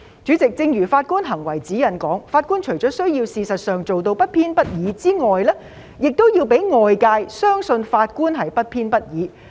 主席，正如《法官行為指引》所述，法官除了需要事實上做到不偏不倚之外，還要讓外界相信法官是不偏不倚的。